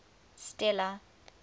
stella